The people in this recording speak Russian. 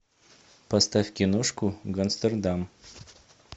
поставь киношку гангстердам